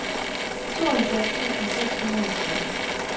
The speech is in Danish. tooghalvfjerds tusind seks hundrede og tretten